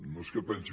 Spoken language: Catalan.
no és que pensi